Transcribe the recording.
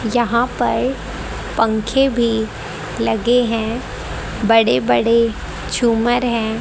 यहां पर पंखे भी लगे हैं बड़े बड़े झूमर है।